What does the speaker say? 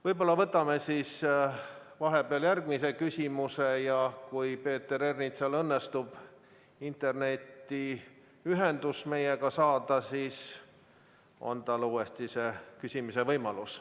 Võib-olla võtame siis vahepeal järgmise küsimuse ja kui Peeter Ernitsal õnnestub meiega ühendust saada, siis on tal uuesti küsimise võimalus.